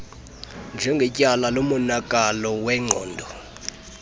njengakwityala lomonakalo wengqondo